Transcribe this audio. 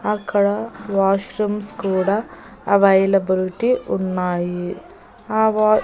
అక్కడ వాష్రూమ్స్ కూడా అవైలబిలిటీ ఉన్నాయి ఆ వా--